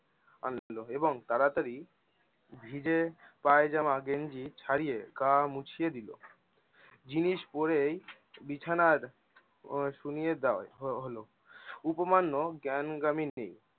আনলো এবং তারাতারি, ভিজে পায়জামা গেঞ্জি ছাড়িয়ে গা মুছিয়া দিল। জিনিস পরেই বিছানার সুইয়ে দাও দেয়া হলো। উপমান্ন্য জ্ঞান গাম এ নেই-